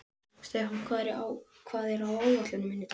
Stefán, hvað er á áætluninni minni í dag?